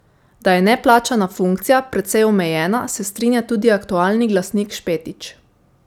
Da je neplačana funkcija precej omejena, se strinja tudi aktualni glasnik Špetič.